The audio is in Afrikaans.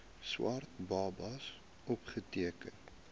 swart babas opgeteken